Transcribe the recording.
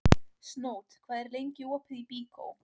Snót, hvað er lengi opið í Byko?